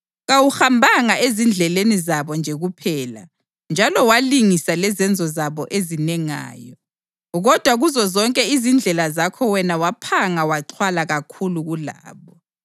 Kawuhambanga ezindleleni zabo nje kuphela njalo walingisa lezenzo zabo ezinengayo, kodwa kuzozonke izindlela zakho wena waphanga waxhwala kakhulu kulabo.